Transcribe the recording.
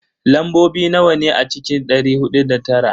Lambobi nawa ne a cikin dari hudu da tara?